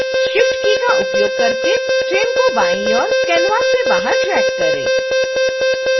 shift key का उपयोग करके ट्रेन को बायीं ओर canvas से बाहर ड्रैग करें